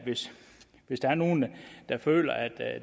hvis der er nogen der føler at